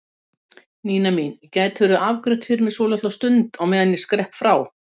Nína mín, gætirðu afgreitt fyrir mig svolitla stund á meðan ég skrepp frá?